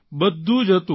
બધું જ હતું